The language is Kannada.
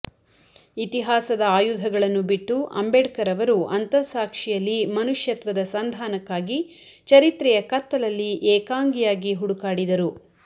ಇತಿಹಾಸದ ಆಯುಧಗಳನ್ನು ಬಿಟ್ಟು ಅಂಬೇಡ್ಕರ್ ಅವರು ಅಂತಃಸಾಕ್ಷಿಯಲ್ಲಿ ಮನುಷ್ಯತ್ವದ ಸಂದಾನಕ್ಕಾಗಿ ಚರಿತ್ರೆಯ ಕತ್ತಲಲ್ಲಿ ಏಕಾಂಗಿಯಾಗಿ ಹುಡುಕಾಡಿದರು